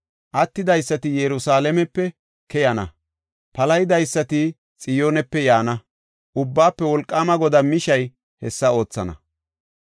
Attidaysati Yerusalaamepe keyana, palahidaysati Xiyoonepe yaana. Ubbaafe Wolqaama Godaa mishay hessa oothana.